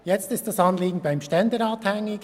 Jetzt ist das Anliegen beim Ständerat hängig.